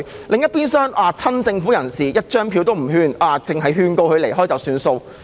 另一邊廂，對於親政府人士，警方沒有票控任何人，只是勸告他們離開了事。